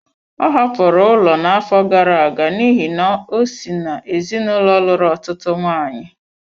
Ọ hapụrụ ụlọ n'afọ gara aga n'ihi na o si n'ezinụlọ lụrụ ọtụtụ nwaanyị.